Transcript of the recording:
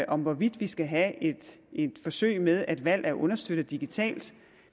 om hvorvidt vi skal have et forsøg med at valg er understøttet digitalt